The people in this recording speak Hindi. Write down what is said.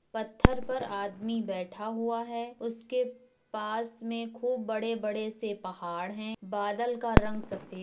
पत्थर पर आदमी बैठा हुआ है उसके पास में खूब बड़े-बड़े से पहाड़ हैं बादल का रंग सफेद --